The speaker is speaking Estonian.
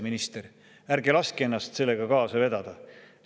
Minister, ärge laske ennast sellega kaasa vedada!